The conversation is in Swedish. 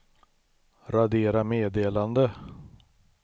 radera meddelande